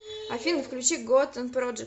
афина включи готан проджект